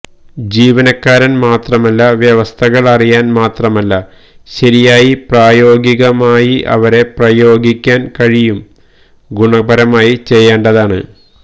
ജീവനക്കാരൻ മാത്രമല്ല വ്യവസ്ഥകൾ അറിയാൻ മാത്രമല്ല ശരിയായി പ്രായോഗികമായി അവരെ പ്രയോഗിക്കാൻ കഴിയും ഗുണപരമായി ചെയ്യേണ്ടതാണ്